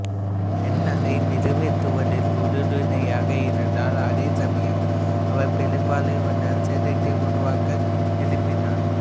pen அதை நிறைவேற்றுவதில் உறுதியாக இருந்தார் அதே சமயம் அவர் பெருமளவிலான சேதத்தை உருவாக்க விரும்பினார்